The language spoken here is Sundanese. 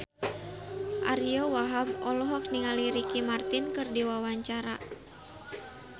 Ariyo Wahab olohok ningali Ricky Martin keur diwawancara